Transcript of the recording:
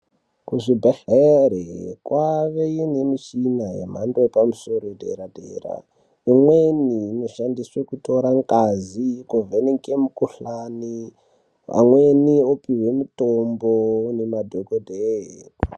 Kuzvibhehlera kwave nemishina yemhando yepamusoro padera-dera imweni inoshandiswe kutore ngazi kuvheneke mikhuhlani amweni opiwe mitombo nemadhokodheya.